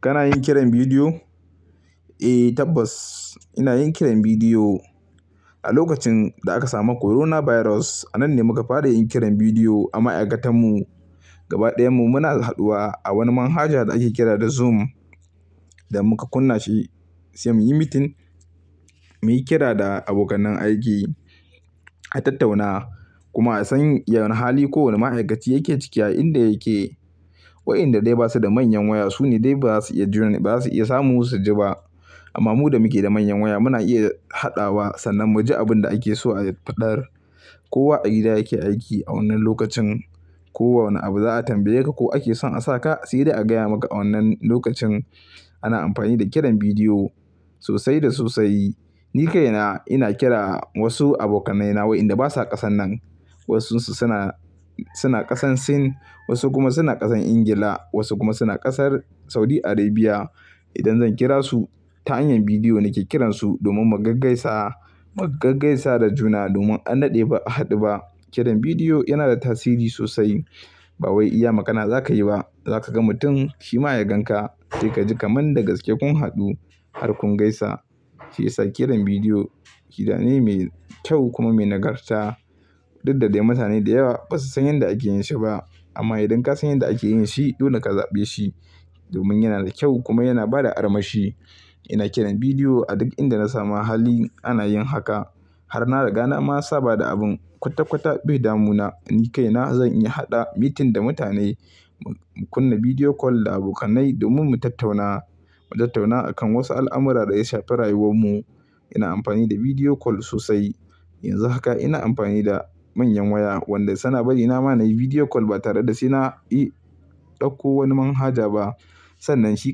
Kana yin kiran bidiyo? Eh tabbas ina yin kiran bidiyo. A lokacin da aka samu coronavirus a nan ne muka fara yin kiran bidiyo. Amma aiƙatan mu gaba ɗayan mu muna haduwa a wani manhaja da ake kira da Zoom da muka kunna shi sai muyi meeting. Muyi kira da abokanan aiki a tattauna kuma a san wane hali kowane ma'aikaci yake ciki a inda yake. Waɗanda dai ba su da manyan waya su ne dai ba za su iya juna ba za su iya samun su su ji ba. Amma mu da muke da manyan waya muna iya haɗawa sannan mu ji abin da ake so a faɗar. Kowa a gida yake aiki a wannan lokacin. Ko wane abu za a tambaye ka ko ake so a sa ka, sai dai a gaya maka a wannan lokacin. Ana amfani da kiran bidiyo sosai da sosai. Ni kaina ina kira wasu abokanaina waɗanda basa ƙasan nan. Wasansu suna, suna ƙasan Sin, wasu kuma suna ƙasan Ingila, wasu kuma suna ƙasar Saudi Arabia. Idan zan kira su ta hanyar bidiyo nake kiransu domin mu gaggaisa, mu gaggaisa da juna domin an naɗe ba a haɗu ba. Kiran bidiyo yana da tasiri sosai. Ba wai iya magana za ka yi ba, za ka ga mutum shima ya gan ka sai ka ji kamar da gaske kun haɗu har kun gaisa. Shiyasa kiran bidiyo hira ne mai kyau kuma mai nagarta. Dudda dai mutane da yawa basa san yadda ake yin shi ba. Amma idan ka san yadda ake yin shi, dole ka zaɓe shi domin yana da kyau kuma yana bada armashi. Ina kiran bidiyo a duk inda na samu hali ana yin haka. Har na riga na ma saba da abun kwata-kwata bai damu na. Ni kaina zan iya haɗa meeting da mutane, mu kunna bidiyo call da abokanai domin mu tattauna, mu tattauna a kan wasu al'amura da ya shafi rayuwar mu. Ina amfani da bidiyo call sosai. Yanzu haka ina amfani da manyan waya waɗanda suna ba ni nama na yi bidiyo call ba tare da suna yi ɗauko wani manhaja ba. Sannan shi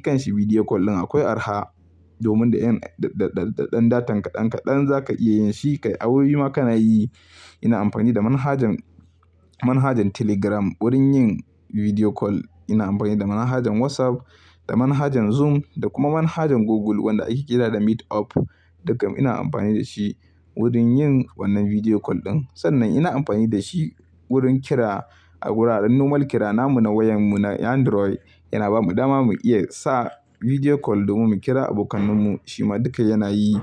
kanshi bidiyo call ɗin akwai araha domin da ɗan datanka ɗan-kaɗan za ka iya yin shi. Kai abubuwa ma ka na yi. Ina amfani da manhajan, manhajan Telegram wurin yin bidiyo call. Ina amfani da manhajan WhatsApp, da manhajan Zoom da kuma manhajan Google wanda ake kira da Meet Up. Dukkan ina amfani da shi wurin yin wannan vidiyo call ɗin. Sannan ina amfani da shi wurin kira a wuraren normal kirana mu na wayan mu na Android yana ba mu dama mu iya sa bidiyo call domin mu kira abokan mu. Shima duka yana yi.